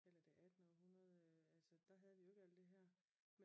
Eller det attende århundrede altså der havde vi jo ikke alt det her